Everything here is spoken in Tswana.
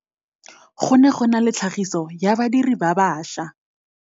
Go ne go na le tlhagiso ya badirir ba baša.